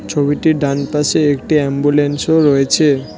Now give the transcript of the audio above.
ছবিটির ডান পাশে একটি অ্যাম্বুলেন্সও রয়েছে।